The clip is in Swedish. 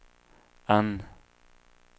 N